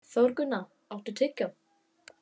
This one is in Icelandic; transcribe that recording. Þórgunna, áttu tyggjó?